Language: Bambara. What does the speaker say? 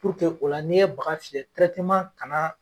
o la ni ye baga fiyɛ ka na.